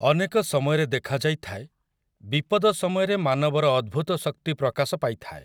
ଅନେକ ସମୟରେ ଦେଖାଯାଇଥାଏ, ବିପଦ ସମୟରେ ମାନବର ଅଦ୍ଭୁତ ଶକ୍ତି ପ୍ରକାଶ ପାଇଥାଏ।